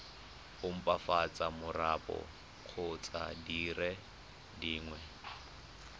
opafatsa marapo kgotsa dire dingwe